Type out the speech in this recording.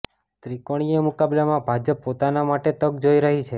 ત્રીકોણીય મુકાબલામાં ભાજપ પોતાના માટે તક જોઈ રહી છે